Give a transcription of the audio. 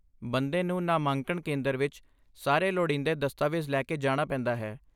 ਬੰਦੇ ਨੂੰ ਨਾਮਾਂਕਣ ਕੇਂਦਰ ਵਿੱਚ ਸਾਰੇ ਲੋੜੀਂਦੇ ਦਸਤਾਵੇਜ਼ ਲੈ ਕੇ ਜਾਣਾ ਪੈਂਦਾ ਹੈ।